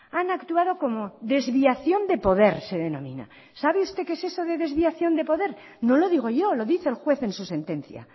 han actuado como desviación de poder se denomina sabe usted qué es eso de desviación de poder no lo digo yo lo dice el juez en su sentencia